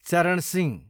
चरण सिंह